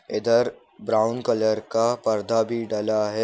इधर brown colour का पर्दा भी डला है।